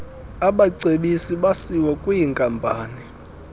abacebisi basiwa kwwinkampani